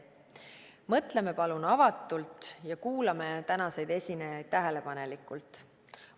Mõtleme palun avatult ja kuulame tänaseid esinejaid tähelepanelikult.